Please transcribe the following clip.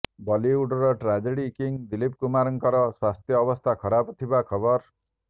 ବଲିଉଡର tragedy king Dilip କୁମାରଙ୍କର ସ୍ୱାସ୍ଥ୍ୟ ଅବସ୍ଥା ଖରାପ ଥିବା ଖବର